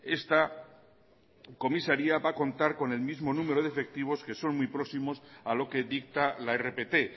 esta comisaria va a contar con el mismo número de efectivos que son muy próximos a lo que dicta la rpt